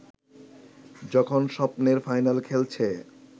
যখন স্বপ্নের ফাইনাল খেলছে